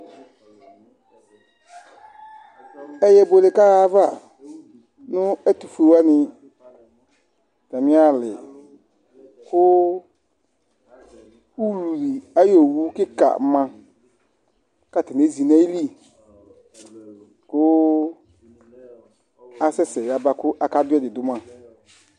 Ɛyɛ buele kaɣa ayava nu ɛtufue wani atami ali ku ayɔ owu kika ma katani ezi nayili ku asɛsɛ yaba kaka du ɛdi du ma